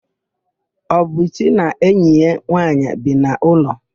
Obichi na enyi ya nwaanyị bi n'ụlọ.